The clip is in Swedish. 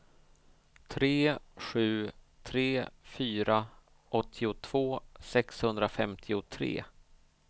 tre sju tre fyra åttiotvå sexhundrafemtiotre